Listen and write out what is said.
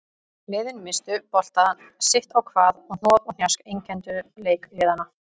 Liðin misstu boltann sitt á hvað og hnoð og hnjask einkenndu leik liðanna.